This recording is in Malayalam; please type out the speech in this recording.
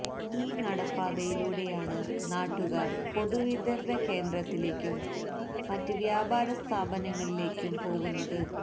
ഈ നടപ്പാതയിലൂടെയാണ് നാട്ടുകാര് പൊതുവിതരണ കേന്ദ്രത്തിലേക്കും മറ്റ് വ്യാപാര സ്ഥാപനങ്ങളിലേക്കും പോകുന്നത്